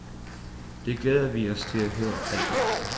Det glæder vi os til at høre alt om.